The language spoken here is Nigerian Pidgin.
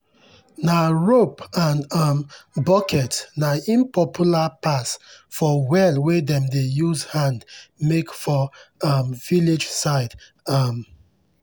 nah rope and um bucket nah im popular pass for well wey dem dey use hand make for um village side. um